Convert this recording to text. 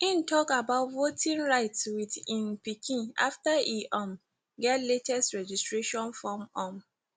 im tok about voting rights with im pikin after e um get latest registration form um